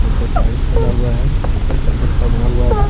नीचे टाइल्स लगा हुआ है ऊपर करकट का बना हुआ है।